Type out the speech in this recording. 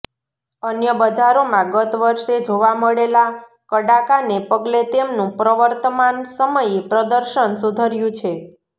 અન્ય બજારોમાં ગત વર્ષે જોવા મળેલા કડાકાને પગલે તેમનું પ્રવર્તમાન સમયે પ્રદર્શન સુધર્યું છે